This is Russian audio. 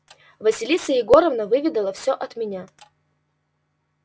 василиса егоровна выведала всё от меня